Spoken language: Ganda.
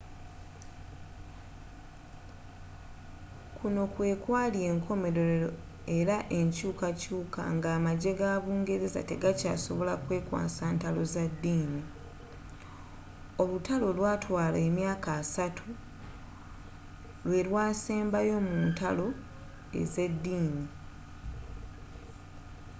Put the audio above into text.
kuno kwe kwali enkomerero era n'enkyukakyuka nga amagye ga bungereza tegakyasobola kwekwasa ntalo za ddini olutalo olwatwala emyaka assatu lwe lwasembayo mu ntalo z'eddini